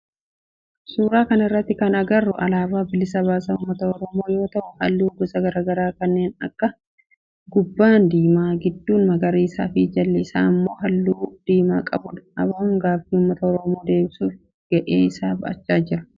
Suuraa kana irratti kan agarru alaabaa bilisa baasaa ummata oromoo yoo ta'u halluu gosa garaagaraa kanneen akka gubbaan diimaa, gidduun magariisa fi jala isaan immoo halluu diimaa qabudha. ABOn gaaffii ummata oromoo deebisuf ga'ee isaa ba'achaa jira.